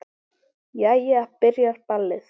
Jæja. byrjar ballið!